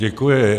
Děkuji.